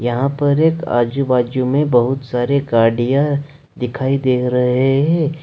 यहां पर एक आजू-बाजू में बहुत सारे गाडियां दिखाई दे रहे हैं।